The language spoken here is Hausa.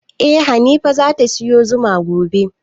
Eh hanifa zata siyo zuma gobe